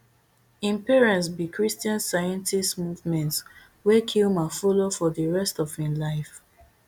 im parents be christian scientists movement wey kilmer follow for di rest of im life